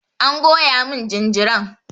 An goya mun jinjiran.